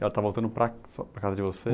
E ela está voltando para, para a casa de vocês?